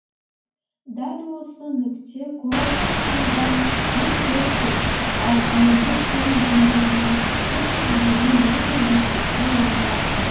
дәл осы нүкте курорттық қаладан мың төрт жүз ал әлемдік теңіз деңгейінен үш жүз елу метр биіктікте орналасқан